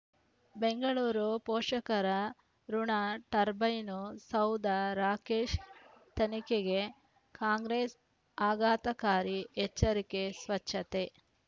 ಬೆಂಗಳೂರು ಪೋಷಕರಋಣ ಟರ್ಬೈನು ಸೌಧ ರಾಕೇಶ್ ತನಿಖೆಗೆ ಕಾಂಗ್ರೆಸ್ ಆಘಾತಕಾರಿ ಎಚ್ಚರಿಕೆ ಸ್ವಚ್ಛತೆ